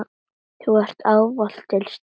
Þú varst ávallt til staðar.